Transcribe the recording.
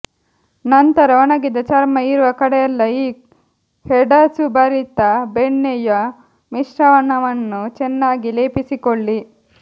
ನಂತರ ಒಣಗಿದ ಚರ್ಮ ಇರುವ ಕಡೆಯೆಲ್ಲ ಈ ಹೆಡಸುಭರಿತ ಬೆಣ್ಣೆಯ ಮಿಶ್ರಣವನ್ನು ಚೆನ್ನಾಗಿ ಲೇಪಿಸಿಕೊಳ್ಳಿ